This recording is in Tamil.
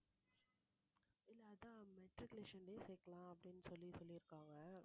இல்ல matriculation லயே சேர்க்கலாம் அப்படின்னு சொல்லி சொல்லிருக்காங்க